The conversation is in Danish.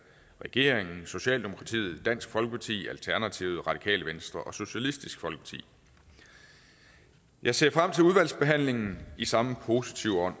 regeringen socialdemokratiet dansk folkeparti alternativet radikale venstre og socialistisk folkeparti jeg ser frem til udvalgsbehandlingen i samme positive ånd